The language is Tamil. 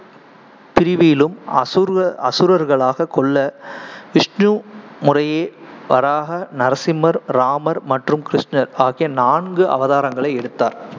பிரிவியிலும் அசுரு~ அசுரர்களாகக் கொல்ல விஷ்ணு முறையே வராஹ, நரசிம்மர், ராமர் மற்றும் கிருஷ்ணர் ஆகிய நான்கு அவதாரங்களை எடுத்தார்